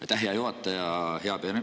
Aitäh, hea juhataja!